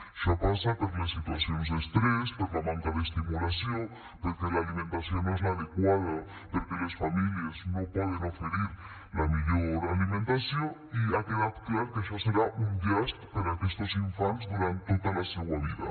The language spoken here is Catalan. això passa per les situacions d’estrès per la manca d’estimulació perquè l’alimentació no és l’adequada perquè les famílies no poden oferir la millor alimentació i ha quedat clar que això serà un llast per a aquestos infants durant tota la seua vida